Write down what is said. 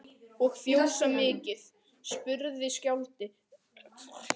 Og fjósið mikla, spurði skáldið, hvernig gengur sá stórhuga rekstur?